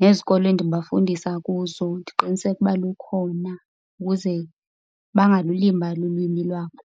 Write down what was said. Nezikolo endibafundisa kuzo ndiqiniseke uba lukhona ukuze bangalulibali ulwimi lwabo.